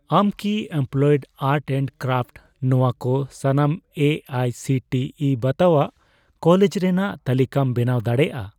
ᱟᱢ ᱠᱤ applied art and craft ᱱᱚᱣᱟ ᱠᱚ ᱥᱟᱱᱟᱢ A I C T E ᱵᱟᱛᱟᱣᱟᱜ ᱠᱚᱞᱮᱡᱽ ᱨᱮᱱᱟᱜ ᱛᱟᱞᱤᱠᱟᱢ ᱵᱮᱱᱟᱣ ᱫᱟᱲᱮᱭᱟᱜᱼᱟ ᱾